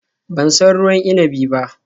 Ban san ruwan inabin ba